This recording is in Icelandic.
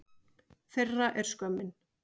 Þeirra er skömmin.